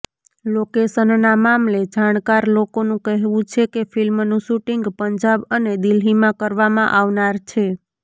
લોકેશનના મામલે જાણકાર લોકોનુ કહેવુ છે કે ફિલ્મનુ શુટિંગ પંજાબ અને દિલ્હીમાં કરવામાં આવનાર છે